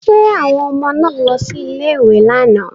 Ṣé àwọn ọmọ náà lọ sí ilé-ìwé lánàá?